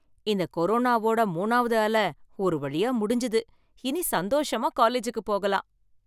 இந்த கொரோனாவோட மூணாவது அலை ஒரு வழியா முடிஞ்சது, இனி சந்தோஷமா காலேஜூக்கு போகலாம்.